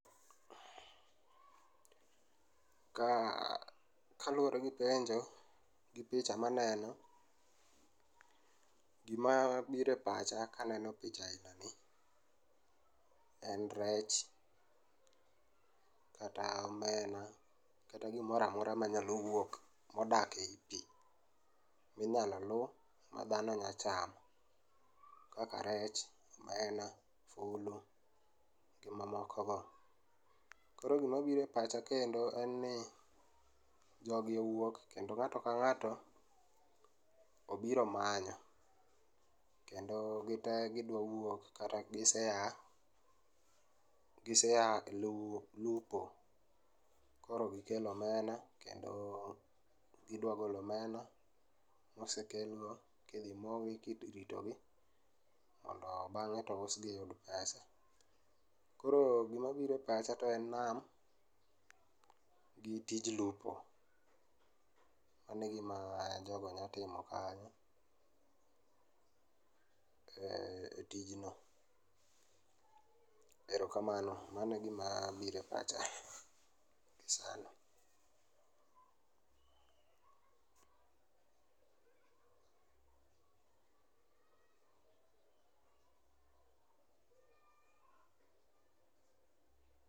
Ka, kaluore gi penjo gi picha ma aneno, gima biro e pacha kaneno picha aina ni en rech kata omena kata gimoro amora manyalo wuok, modak ei pii minyalo luu ma dhano nya chamo kaka rech, omenda, fulu gi mamoko go. Koro gima biro e pacha kendo en ni jogi owuok kendo ng'ato ka ng'ato obiro manyo kendo gitee gidwa wuok kata giseaa, giseaa e luo, lupo koro gikelo omena kendo gidwa golo omena mosekel no kendo gidwa rito gi mondo bang'e to ousgi yud pesa. Koro gima biro e pacha to en nam gi tij lupo, mano e gima jogo nya timo kanyo e tijno, erokamano mano e gima biro e pacha gi sani.